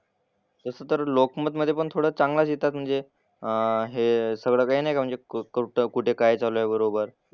तसं तर लोकमतमधे पण थोडं चांगलाच लिहितात म्हणजे अह हे सगळं काही नाही का म्हणजे क कुठं काय चालू आहे बरोबर.